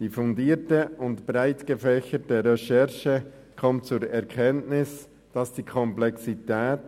Die fundierte und breitgefächerte Recherche gelangt zur Erkenntnis, dass die Komplexität